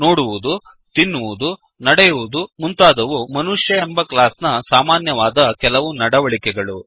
ನೋಡುವುದು ತಿನ್ನುವುದು ನಡೆಯುವುದು ಮುಂತಾದವು ಮನುಷ್ಯ ಎಂಬ ಕ್ಲಾಸ್ ನ ಸಾಮಾನ್ಯವಾದ ಕೆಲವು ನಡವಳಿಕೆಗಳು